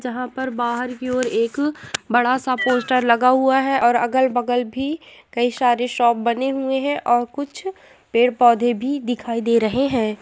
जहां पर बाहर की ओर एक बड़ा सा पोस्टर लगा हुआ है और अगल-बगल भी कई सारे शॉप बने हुए है और कुछ पेड़-पौधे भी दिखाई दे रहे हैं ।